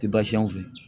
Ti baasi y'an fɛ